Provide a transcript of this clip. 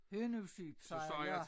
Hønnusyp siger jeg ja